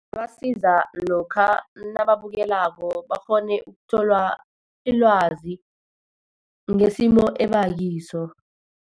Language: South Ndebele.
Ibasiza lokha nababukelako, bakghone ukuthola ilwazi ngesimo ebakiso.